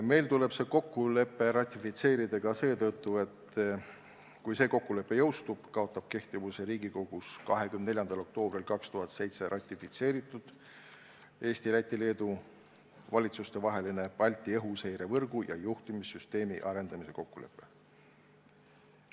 See kokkulepe tuleb meil ratifitseerida ka seetõttu, et selle jõustumisel kaotab kehtivuse Riigikogus 24. oktoobril 2007 ratifitseeritud Eesti, Läti ja Leedu valitsuse vaheline Balti õhuseirevõrgu ja juhtimissüsteemi arendamise kokkulepe.